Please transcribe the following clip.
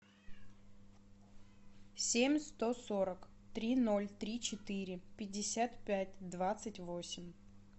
семь сто сорок три ноль три четыре пятьдесят пять двадцать восемь